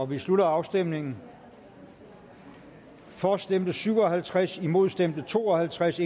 vi slutter afstemningen for stemte syv og halvtreds imod stemte to og halvtreds